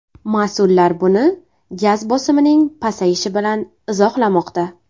Mas’ullar buni gaz bosimining pasayishi bilan izohlamoqda.